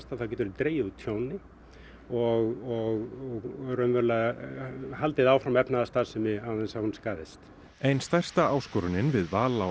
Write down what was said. þá getum við dregið úr tjóni og raunverulega haldið áfram efnahagsstarfsemi án þess að hún skaðist ein stærsta áskorunin við val á